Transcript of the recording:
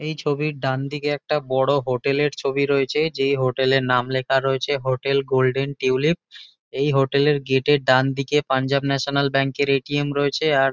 এই ছবির ডানদিকে একটা বড়ো হোটেল -এর ছবি রয়েছে যেই হোটেল -এর নাম লেখা রয়েছে হোটেল গোল্ডেন টিউলিপ এই হোটেল -এর গেট -এর ডানদিকে পাঞ্জাব ন্যাশনাল ব্যাঙ্ক -এর এ.টি.এম. রয়েছে। আর--